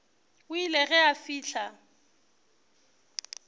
o ile ge a fihla